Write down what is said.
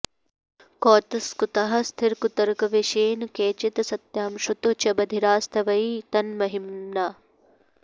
कौतस्कुताः स्थिरकुतर्कवशेन केचित् सत्यां श्रुतौ च बधिरास्त्वयि तन्महिम्ना